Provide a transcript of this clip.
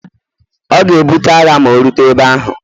ọ ga-ebute agha ma o rute ebe ahu